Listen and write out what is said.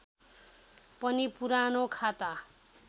पनि पुरानो खाता